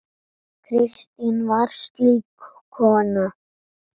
Kristín var slík kona.